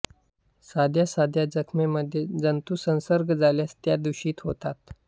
साध्या साध्या जखमेमध्ये जंतुसंसर्ग झाल्यास त्या दूषित होतात